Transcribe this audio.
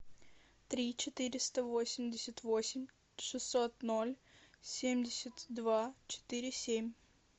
три четыреста восемьдесят восемь шестьсот ноль семьдесят два четыре семь